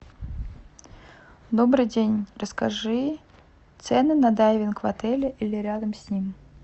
добрый день расскажи цены на дайвинг в отеле или рядом с ним